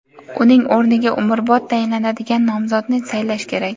uning o‘rniga umrbod tayinlanadigan nomzodni saylash kerak.